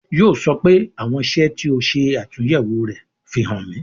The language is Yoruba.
Yo sọ pé " àwọn iṣẹ́ tí ó ṣe atunyewo rẹ, fi hàn mi